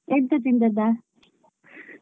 ಎಂತ ತಿಂದದ್ದಾ?